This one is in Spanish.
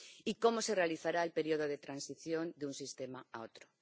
¿Y cómo se realizará el periodo de transición de un sistema a otro?